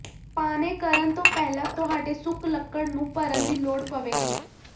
ਪਾਣੇ ਕਰਨ ਤੋਂ ਪਹਿਲਾਂ ਤੁਹਾਡੇ ਸੁੱਕ ਲੱਕੜ ਨੂੰ ਭਰਨ ਦੀ ਲੋੜ ਪਵੇਗੀ